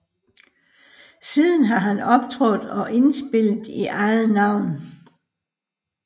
Siden har han optrådt og indspillet i eget navn